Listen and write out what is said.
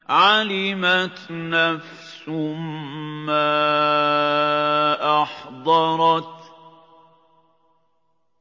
عَلِمَتْ نَفْسٌ مَّا أَحْضَرَتْ